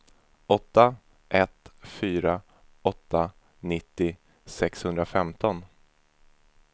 åtta ett fyra åtta nittio sexhundrafemton